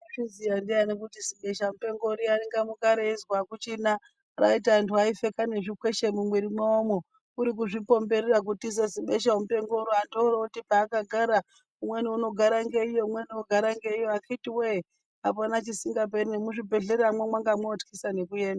Waizviziya ndiyani kuti zibeshamupengo riya ringamuka reizwi akuchina raiti anhtu aipfeka nezvikweshe mumwiri mwawomwo kuri kuzvipomberera kutiza zibeshamupengo anthu oro ooti paakagara umweni garage ngeiyo umweni ogara ngeiyo akhiti wee apana chisinfaperi, nemuzvibhedhleramwo mwanga mwoothyisa nekuenda.